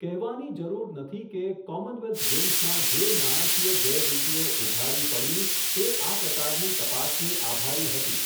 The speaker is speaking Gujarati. કહેવાની જરૂર નથી કે, કોમનવેલ્થ ગેમ્સમાં જે નાણાંકીય ગેરરીતીઓ ઉઘાડી પડી, તે આ પ્રકારની તપાસને આભારી હતી.